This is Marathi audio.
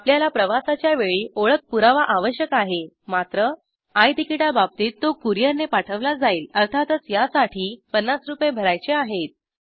आपल्याला प्रवासाच्या वेळी ओळख पुरावा आवश्यक आहे मात्र आय तिकीटाबाबतीत तो कुरिअर ने पाठवला जाईल अर्थातच यासाठी ५० रू भरायचे आहेत